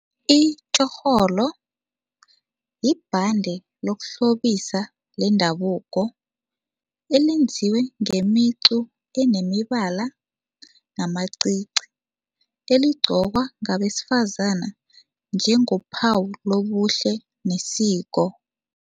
Itjorholo yibhande yokuhlobisa lendabuko elenziwe ngemicu enemibala namacici, eligqokwa ngabesifazana njengophawu lobuhle nesiko.